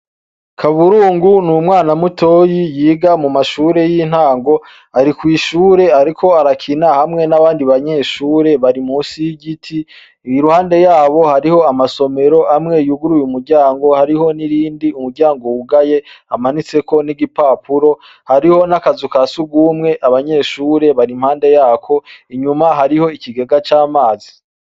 Kaburungu n'umwana mutoyi yiga mumashure y'intango. Ari kw'ishure ariko arakina hamwe n'abandi banyeshuri bari munsi y'igiti. Iruhande yabo hariho amasomero amwe yuguruye umuryango hariho n'irindi umuryango wugaye, hamanitseko n'igipapuro, hariho n'akazu ka sugumwe abanyeshure bari impande yako, inyuma hari ikigega c'amazi.